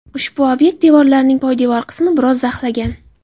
Ushbu obyekt devorlarining poydevor qismi biroz zaxlagan.